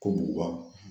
Ko buguba